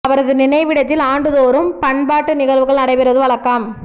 அவரது நினைவிடத்தில் ஆண்டு தோறும் பண்பாட்டு நிகழ்வுகள் நடைபெறுவது வழக்கம்